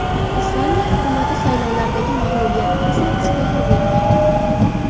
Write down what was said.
Islandiya hukumati saylovlardagi mag‘lubiyatdan so‘ng iste’fo berdi.